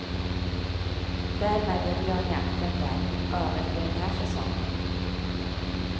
Därmed är björnjakten där över för den här säsongen.